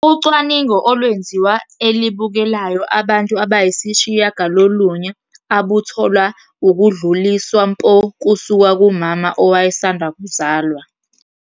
Ucwaningo olwenziwa e-elibukelayo abantu abayisishiyagalolunye abuthole ukudluliswa mpo kusuka kumama owayesanda kuzalwa.